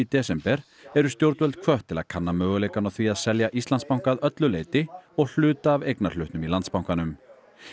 desember eru stjórnvöld hvött til að kanna möguleikann á því að selja Íslandsbanka að öllu leyti og hluta af eignarhlutnum í Landsbankanum